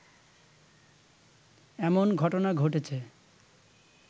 এমন ঘটনা ঘটেছে